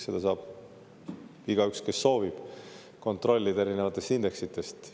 Seda saab igaüks, kes soovib, kontrollida erinevatest indeksitest.